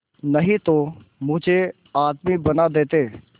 नहीं तो मुझे आदमी बना देते